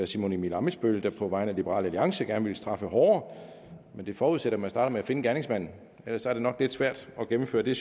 simon emil ammitzbøll der på vegne af liberal alliance gerne ville straffe hårdere det forudsætter at man starter med at finde gerningsmanden ellers er det nok lidt svært at gennemføre det